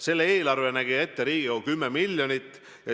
Selle eelarveks nägi Riigikogu ette 10 miljonit.